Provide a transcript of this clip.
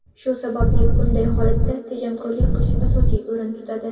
Shu sabali bunday holatda tejamkorlik qilish asosiy o‘rinda turadi.